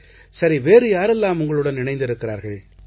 சரி வேறு யாரெல்லாம் உங்களுடன் இருக்கிறார்கள்